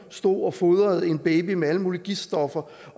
stod og fodrede en baby med alle mulige giftstoffer